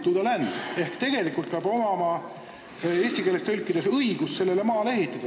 Kui see eesti keelde tõlkida, siis tal peab olema õigus teatud maatükile midagi ehitada.